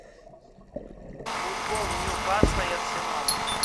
футбол ньюкасла и арсенала